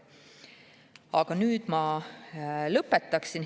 Aga nüüd ma lõpetaksin.